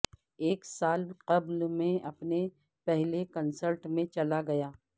ایک سال قبل میں اپنے پہلے کنسرٹ میں چلا گیا